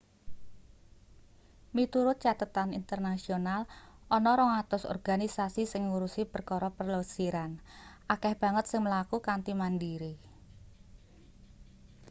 miturut cathetan internasional ana 200 organisasi sing ngurusi perkara plesiran akeh banget sing mlaku kanthi mandiri